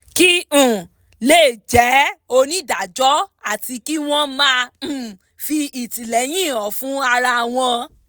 kí um wọ́n lè jẹ́ onídájọ́ àti kí wọ́n máa um fi ìtìlẹ́yìn hàn fún ara wọn